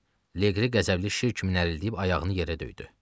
Liqri qəzəbli şir kimi nərildəyib ayağını yerə döydü.